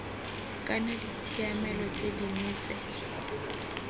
kana ditshiamelo tse dingwe tse